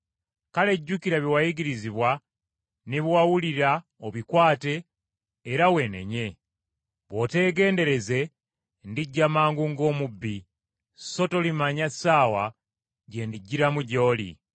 Kale jjukira bye wayigirizibwa ne bye wawulira obikwate era weenenye. Bw’otegendereze ndijja mangu ng’omubbi, so tolimanya ssaawa gye ndijjiramu gy’oli.